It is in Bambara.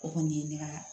O kɔni ye ne ka